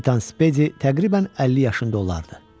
Kapitan Spedi təqribən 50 yaşında olardı.